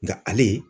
Nka ale